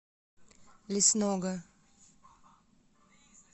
лесного